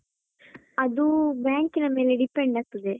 ಅದು bank ನ ಮೇಲೆ depend ಆಗ್ತದೆ.